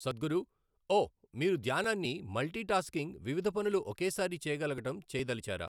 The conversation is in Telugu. సద్గురు ఓ మీరు ధ్యానాన్ని మల్టీ టాస్కింగ్ వివిధ పనులు ఒకే సారి చేయగలగడం చేయదలిచారా?